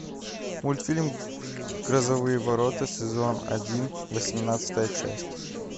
мультфильм грозовые ворота сезон один восемнадцатая часть